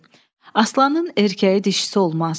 Aslanın erkəyi dişisi olmaz.